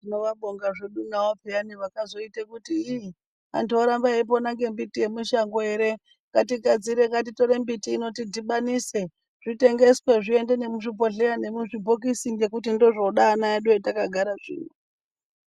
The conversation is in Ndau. Tinovabonga zvedu navo peyani vakazoita kuti iii antu oramba eipona ngembiti yemishango ere ngatigadzire, ngatitore mbiti ino tidhibanise zvitengeswe zviende nemuzvibhodhleya nemuzvibhokisi ngekuti ndizvo zvoda ana edu hatakagara zvino.